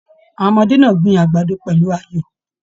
Àwọn ọmọdé náà gbìn àgbàdo pẹlú ayọ.